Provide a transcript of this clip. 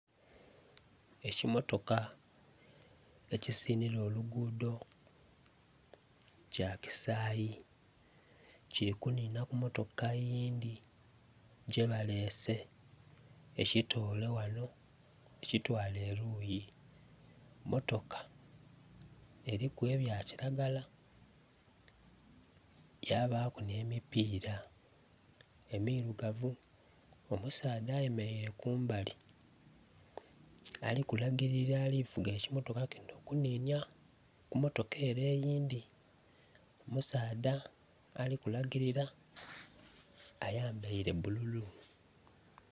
ekimotoka ekisinhira oluguudho, kya kisaayi kiri kunhinha ku motoka eyindhi gyebalese ekitoolr ghano ekitwale eluuyi. Emotoka eriku ebyakiragala yabaaku nh'emipiira emirugavu. Omusadha ayemeraire kumbali, alikulagirira ali kuvuga ekimotoka kino okunhinya ku motoka ere eyindhi. Omusaadha ali kulagirira ayambaire bululu.